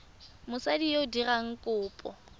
mosadi yo o dirang kopo